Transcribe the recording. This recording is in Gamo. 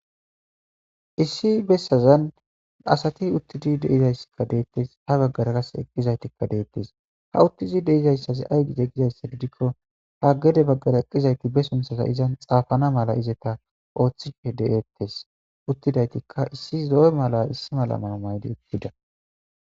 Issi bessazan asati uttidi deizayssikka deettes ha baggara kas eqqizaytikka deettes ha uttizi deizayssazi ay gide gizayssididikko haggede baggara eqqizayti be sunthaza izan xaafana mala izeta ooththife de7ettes uttidaytikka issi do7e mala issi mala maa maydi uttida.